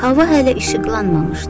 Hava hələ işıqlanmamışdı.